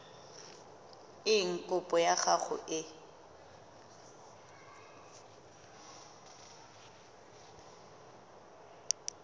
eng kopo ya gago e